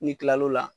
N'i kilal'o la